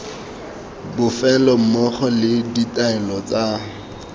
bofelo mmogo le ditaelo tsa